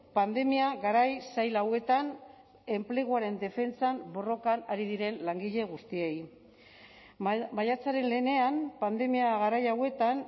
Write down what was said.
pandemia garai zail hauetan enpleguaren defentsan borrokan ari diren langile guztiei maiatzaren lehenean pandemia garai hauetan